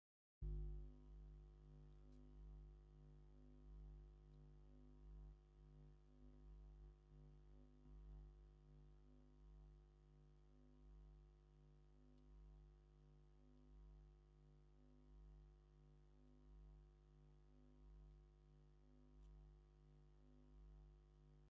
ተከተልቲ ክርስትና ካብ ዝጥቀሙሉ ሓደ ድባብ እንትኮነ መብዛሕቲኡ ግዜ አብ ዓበይቲ በዓላትን አብ ቀበርን ሕዘሙዎ ዝዎፅኡ እዩ። ድባብ ካብ ምንታይ ዝስራሕ ይመስለኩም?